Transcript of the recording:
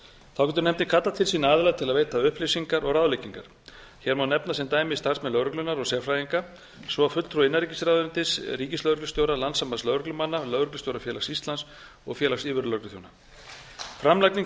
þá getur nefndin kallað til sín aðila til að veita upplýsingar og ráðleggingar hér má nefna sem dæmi starfsmenn lögreglunnar og sérfræðinga svo og fulltrúa innanríkisráðuneytis ríkislögreglustjóra landssambands lögreglumanna lögreglustjórafélags íslands og félags yfirlögregluþjóna framlagning